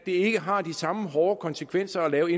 ikke har de samme hårde konsekvenser at lave